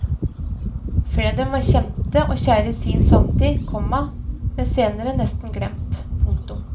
Flere av dem var kjente og kjære i sin samtid, komma men senere nesten glemt. punktum